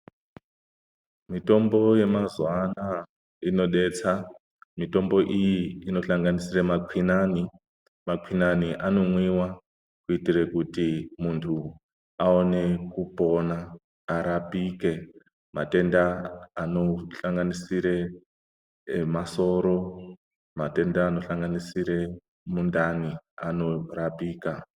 Mitombo yemazuwa anaya inodetsa. Mitombo iyi inohlanganisira makwinane. Makwinane anomwiwa kuitira kuti muntu aone kupona, arapike matenda anohlanganisira emasoro. Matenda anohlanganisira mundani anorapika.